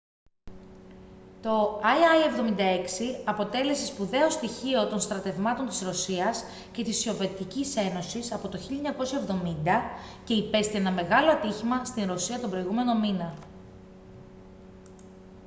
το il-76 αποτέλεσε σπουδαίο στοιχείο των στρατευμάτων της ρωσίας και της σοβιετικής ένωσης από το 1970 και υπέστη ένα μεγάλο ατύχημα στη ρωσία τον προηγούμενο μήνα